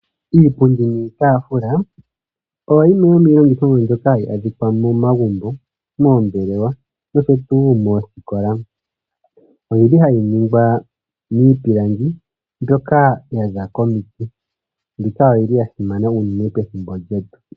Iipundi nIitafula oyo yimwe yomiilongithomwa mbyoka hayi adhikwa momagumbo, moombelewa nosho tuu moosikola. Oyili hayi ningwa miipilanga mbyoka hayi hohangwa momiti. Oyili wo yasimana uunene methimbo ndika lyongaashingeyi.